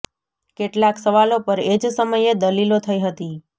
કેટલાક સવાલો પર એ જ સમયે દલીલો થઈ હતી